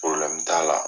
t'a la